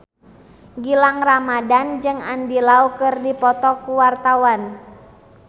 Gilang Ramadan jeung Andy Lau keur dipoto ku wartawan